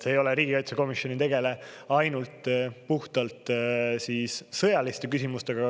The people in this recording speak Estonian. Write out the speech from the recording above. See ei ole, riigikaitsekomisjon ei tegele ainult puhtalt sõjaliste küsimustega.